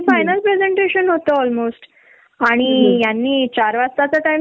आणि प्रेगेनेशी मध्ये इतकी भूक लागायची थकलेली असायची तरी साडे दहा वाजता